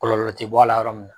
Kɔlɔlɔ te bɔ a la yɔrɔ mun na